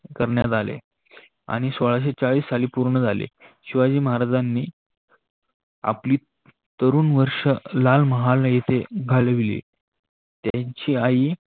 करण्यात आले आणि सोळाशे चाळीश साली पूर्ण झाले. शिवाजी महाराजांनी आपली तरूण वर्षे लालमहाल येथे घालविले. त्यांची आई